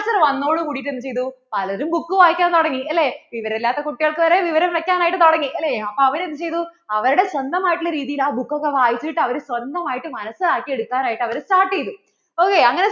വന്നതോട് കൂടിട്ട് എന്ത് ചെയ്തു? പലരും book വായിക്കാൻ തുടങ്ങി അല്ലേ വിവരം ഇല്ലാത്ത കുട്ടികൾക്കു വരെ വിവരം വെക്കാനായിട്ട് തുടങ്ങി അല്ലെ അപ്പൊ അവർ എന്ത് ചെയ്തു അവരുടെ സ്വന്തമായിട്ട് ഉള്ള രീതിയിൽ ആ book ഒക്കെ വായിച്ചിട്ട് അവർ സ്വന്തമായിട്ട് മനസിലാക്കി എടുക്കാനായിട്ട് അവര്‍ start ചെയ്തു